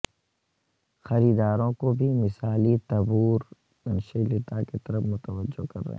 خریداروں کو بھی مثالی تبورتنشیلتا کی طرف متوجہ کر رہے ہیں